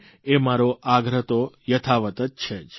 એ મારો આગ્રહ તો યથાવત છે જ